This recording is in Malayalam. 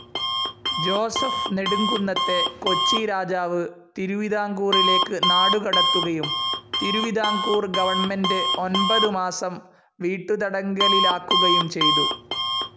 ജോസഫ്‌ നെടുംകുന്നത്തെ കൊച്ചി രാജാവ്‌ തിരുവിതാംകൂറിലേക്ക്‌ നാടുകടത്തുകയും തിരുവിതാംകൂർ ഗവൺമെൻ്റെ് ഒൻപതു മാസം വീട്ടുതടങ്കലിലാക്കുകയും ചെയ്തു.